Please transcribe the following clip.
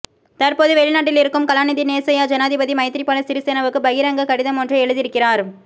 தற்போது வெளிநாட்டில் இருக்கும் கலாநிதி நேசையா ஜனாதிபதி மைத்திரிபால சிரிசேனவுக்கு பகிரங்கக் கடிதமொன்றை எழுதியிருக்கிறார்